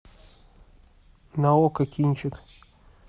на окко кинчик